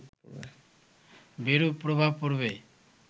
বিরূপ প্রভাব পড়বে